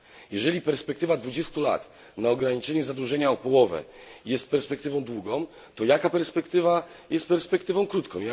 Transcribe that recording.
Jeżeli perspektywa 20 lat na ograniczenie zadłużenia o połowę jest perspektywą długą, to jaka perspektywa jest perspektywą krótką.